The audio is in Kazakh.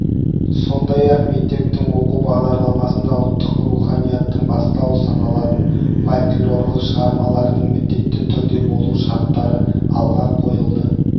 сондай-ақ мектептің оқу бағдарламасында ұлттық руханияттың бастауы саналатын фольклорлық шығармалардың міндетті түрде болу шарттары алға қойылды